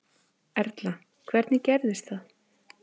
Erla: Hvernig gerðist það?